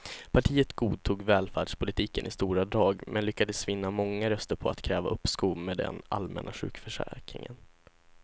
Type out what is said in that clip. Partiet godtog välfärdspolitiken i stora drag men lyckades vinna många röster på att kräva uppskov med den allmänna sjukförsäkringen.